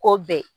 K'o bɛn